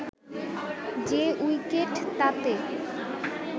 যে উইকেট তাতে